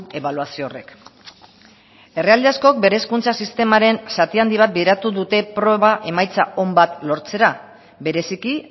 ebaluazio horrek herrialde askok bere hezkuntza sistemaren zati handi bat bideratu dute proba emaitza on bat lortzera bereziki